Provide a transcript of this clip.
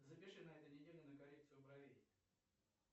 запиши на этой неделе на коррекцию бровей